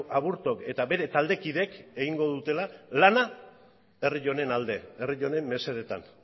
aburtok eta bere taldekideek egingo dutela lana herri honen alde herri honen mesedetan